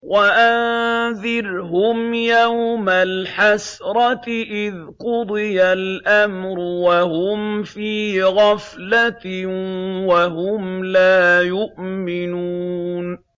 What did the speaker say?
وَأَنذِرْهُمْ يَوْمَ الْحَسْرَةِ إِذْ قُضِيَ الْأَمْرُ وَهُمْ فِي غَفْلَةٍ وَهُمْ لَا يُؤْمِنُونَ